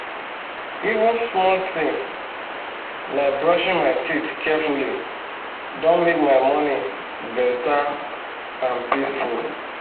even small thing like brushing my teeth carefully don make my morning better and peacefu